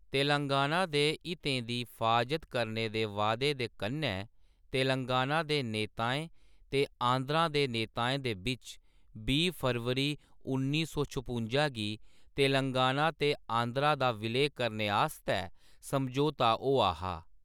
तेलंगाना दे हितें दी फ्हाजत करने दे वादे दे कन्नै तेलंगाना दे नेताएं ते आंध्र दे नेताएं दे बिच्च बीह् फरवरी उन्नी सौ छपुंजा गी तेलंगाना ते आंध्र दा विलय करने आस्तै समझोता होआ हा।